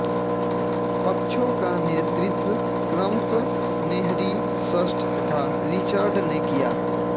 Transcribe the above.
पक्षों का नेतृत्व क्रमश हेनरी षष्ठ तथा रिचर्ड ने किया